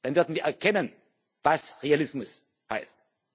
zurück. Dann werden wir erkennen, was Realismus